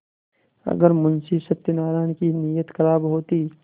अगर मुंशी सत्यनाराण की नीयत खराब होती